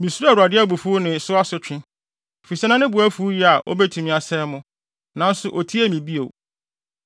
Misuroo Awurade abufuw ne so asotwe, efisɛ na ne bo afuw yiye a obetumi asɛe mo. Nanso, otiee me bio.